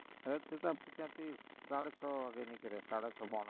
ત્યાંથી સાડા છ વાગે નીકળ્યા, સાડા છમાં